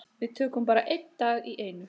Við tökum bara einn dag í einu.